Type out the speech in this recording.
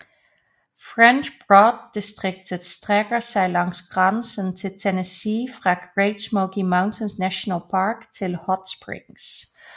French Broad distriktet strækker sig langs grænsen til Tennessee fra Great Smoky Mountains National Park til Hot Springs